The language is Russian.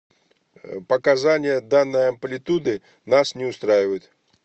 показания данной амплитуды нас не устраивает